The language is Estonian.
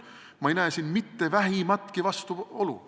Ma ei näe siin mitte vähimatki vastuolu.